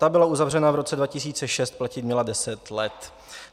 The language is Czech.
Ta byla uzavřena v roce 2006, platit měla 10 let.